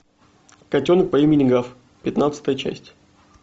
котенок по имени гав пятнадцатая часть